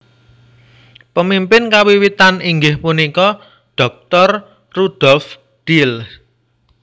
Pemimpin kawiwitan inggih punika Dr Rudolf Diels